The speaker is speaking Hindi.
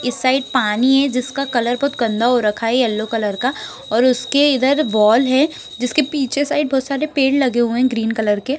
इस साइड पानी है जिसका कलर बहोत गन्दा हो रखा है येलो कलर का और उसके इधर एक बॉल है जिसके पीछे बहोत सारे पेड़ लगे हुए है ग्रीन कलर के।